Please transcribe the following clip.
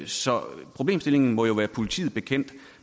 så problemstillingen må jo være politiet bekendt